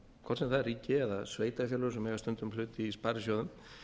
hvort sem það er ríki eða sveitarfélög sem eiga stundum hlut í sparisjóðum